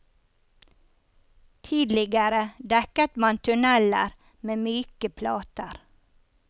Tidligere dekket man tunneler med myke plater.